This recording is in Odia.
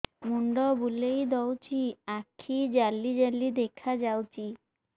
ମୁଣ୍ଡ ବୁଲେଇ ଦଉଚି ଆଖି ଜାଲି ଜାଲି ଦେଖା ଯାଉଚି